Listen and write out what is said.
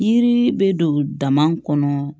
Yiri bɛ don dama kɔnɔ